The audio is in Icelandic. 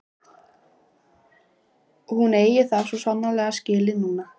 Hún eigi það svo sannarlega skilið núna.